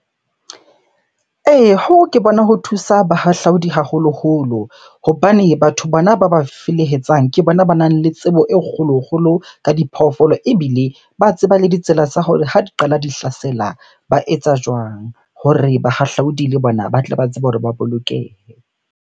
Ee, hoo ke bona ho thusa bahahlaudi haholoholo. Hobane batho bona ba ba felehetsang ke bona banang le tsebo e kgolo-kgolo ka diphoofolo ebile ba tseba le ditsela tsa hore ha di qala di hlasela ba etsa jwang? Hore bahahlaudi le bona ba tle ba tsebe hore ba bolokehe.